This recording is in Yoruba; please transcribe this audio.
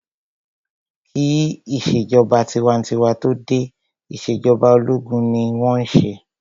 Kí ìṣèjọba tinwatinwa tó dé, ìṣèjọba ológun ni wọ́n n ṣe